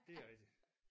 Det er rigtigt